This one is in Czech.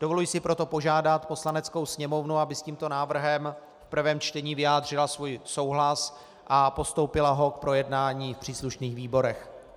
Dovoluji si proto požádat Poslaneckou sněmovnu, aby s tímto návrhem v prvém čtení vyjádřila svůj souhlas a postoupila ho k projednání v příslušných výborech.